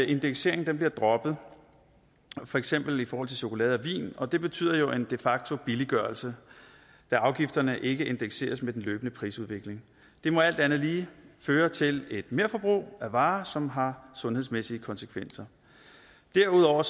indekseringen bliver droppet for eksempel i forhold til chokolade og vin og det betyder jo en de facto billiggørelse da afgifterne ikke indekseres med den løbende prisudvikling det må alt andet lige føre til et merforbrug af varer som har sundhedsmæssige konsekvenser derudover